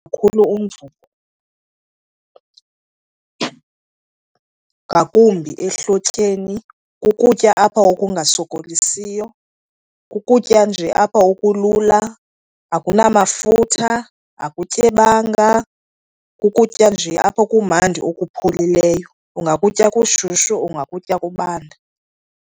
Kakhulu umvubo, ngakumbi ehlotyeni. Kukutya apha okungasokolisiyo, kukutya nje apha okulula. Akunamafutha, akutyebanga, kukutya nje apha okumandi okupholileyo. Ungakutya kushushu, ungakutya kubanda.